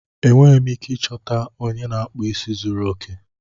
Enweghị m ike ịchọta onye na-akpụ isi zuru oke.